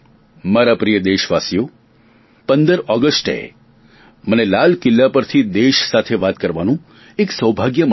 મારા પ્રિય દેશવાસીઓ પંદર ઓગસ્ટે મને લાલ કિલ્લા પરથી દેશ સાથે વાત કરવાનું એક સૌભાગ્ય મળે છે